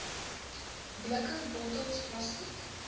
blikke bottels plastiek